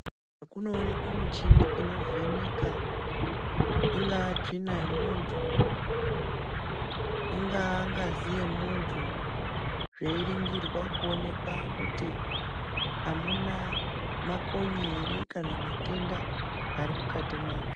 Kunoonekwa michini inovheneka ingava tsvina yemuntu ingava ngazi yemuntu zveinigirwa kuonekwa kuti amuna makonye here kana matenda ari mukati mazvo.